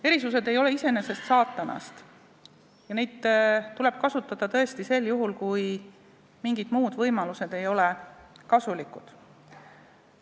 Erisused ei ole iseenesest saatanast ja neid tuleb kasutada tõesti sel juhul, kui mingid muud võimalused ei ole kasulikud.